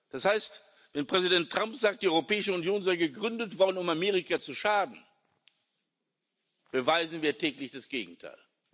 Das heißt, wenn Präsident Trump sagt, die Europäische Union sei gegründet worden, um Amerika zu schaden, beweisen wir täglich das Gegenteil.